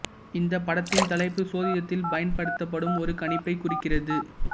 இந்த படத்தின் தலைப்பு சோதிடத்தில் பயன்படுத்தப்படும் ஒரு கணிப்பைக் குறிக்கிறது